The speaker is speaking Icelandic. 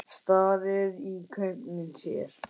Starir í gaupnir sér.